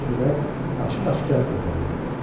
Sürət açıq-aşkar gözəllikdir.